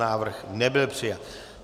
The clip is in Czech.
Návrh nebyl přijat.